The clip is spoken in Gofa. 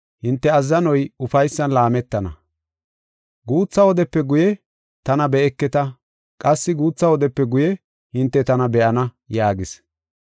“Guutha wodepe guye tana be7eketa; qassi guutha wodepe guye hinte tana be7ana” yaagis.